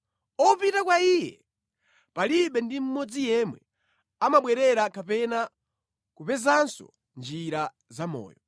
Opita kwa iye palibe ndi mmodzi yemwe amabwerera kapena kupezanso njira zamoyo.